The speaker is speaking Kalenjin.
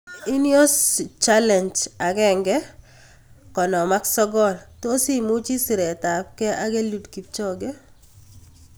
Ineos challenge 1:59: tos imuchi siret ab kee ak Eliud kipchoge?